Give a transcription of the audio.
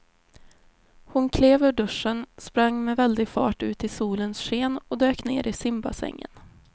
Hon klev ur duschen, sprang med väldig fart ut i solens sken och dök ner i simbassängen.